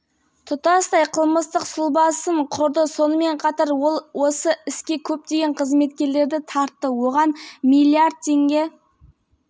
бюджет қаражатын жымқыру және пара алудың сегіз фактісі бойынша айып тағылды нұрлы жол мемлекеттік бағдарламасының